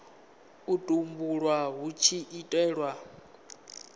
u tumbulwa hu tshi itelwa